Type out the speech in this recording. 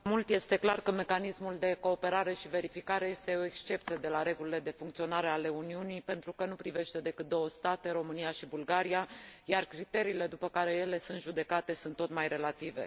Este clar că Mecanismul de cooperare și verificare este o excepție de la regulile de funcționare ale Uniunii, pentru că nu privește decât două state, România și Bulgaria, iar criteriile după care ele sunt judecate sunt tot mai relative.